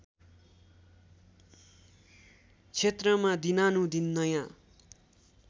क्षेत्रमा दिनानुदिन नयाँ